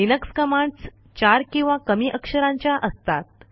Linux commands चार किंवा कमी अक्षरांच्या असतात